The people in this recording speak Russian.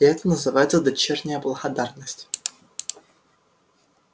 и это называется дочерняя благодарность